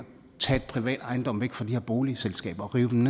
tage privat ejendom fra de her boligselskaber og rive dem